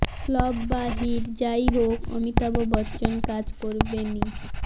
flop বা hit যাই হোক অমিতাভ বচ্চন কাজ করবেনই